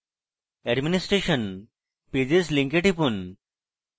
administration pages link টিপুন